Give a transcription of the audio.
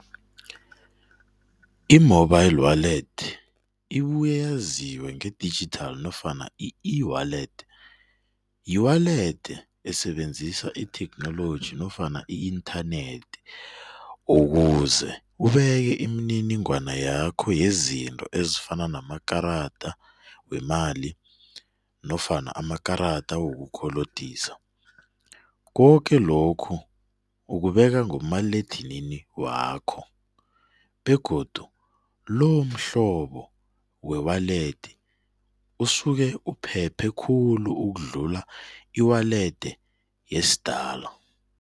I-mobile wallet ibuye yaziwe nge-digital nofana i-ewallet, yi-wallet esebenzisa itheknoloji nofana i-internet ukuze ubeke imininingwana yakho yezinto ezifana namakarada wemali nofana amakarada wokukolodisa. Koke lokhu ukubeka ngomaliledinini wakho begodu lomhlobo we-wallet usuke uphephe khulu ukudlula i-wallet yesidala.